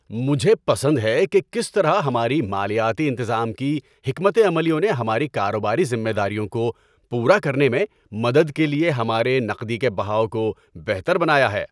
مجھے پسند ہے کہ کس طرح ہماری مالیاتی انتظام کی حکمت عملیوں نے ہماری کاروباری ذمہ داریوں کو پورا کرنے میں مدد کے لیے ہمارے نقدی کے بہاؤ کو بہتر بنایا ہے۔